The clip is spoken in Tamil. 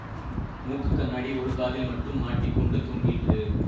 மூக்கு கண்ணாடி ஒரு காதில் மட்டும் மாட்டிக் கொண்டு தொங்கிற்று